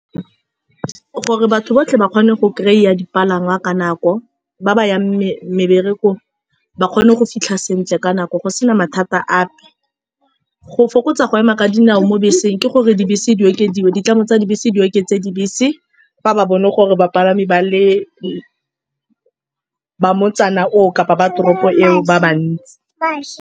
Gore batho botlhe ba kgone go kry-iya dipalangwa ka nako, ba ba yang mebereko ba kgone go fitlha sentle ka nako go sena mathata ape. Go fokotsa go ema ka dinao mo beseng ke gore dibese di okediwe, ditlamo tsa dibese di oketse dibese fa ba bone gore bapalami ba le ba motsana oo kapa ba toropo eo, ba bantsi .